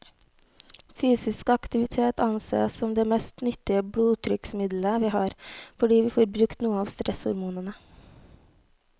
Fysisk aktivitet ansees som det mest nyttige blodtrykksmiddelet vi har, fordi vi får brukt noe av stresshormonene.